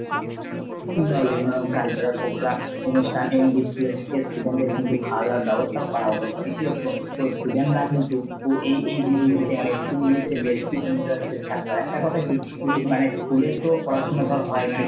বা বিভিন্ন রকমের cultural program অনুষ্ঠান এবং school এর student দের কিন্তু খাওয়া দাওয়ার ব্যাবস্থা ও করা হতো। ফলে কি হতো student রা কিন্তু এই এই দিনগুলিতে মানে school গুলিতে বেশি interested থাকতো। আর একটা কথা কি মানে school এর তো পড়াশোনা টা হয় মনে